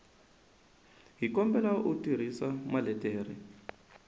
hi kombela u tirhisa maletere